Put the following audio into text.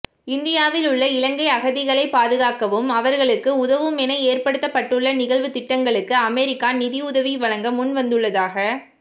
இந்தியாவில் உள்ள இலங்கை அகதிகளைப் பாதுகாக்கவும் அவர்களுக்கு உதவவுமென ஏற்படுத்தப்பட்டுள்ள நிகழ்வுத் திட்டங்களுக்கு அமெரிக்கா நிதியுதவி வழங்க முன்வந்துள்ளதாக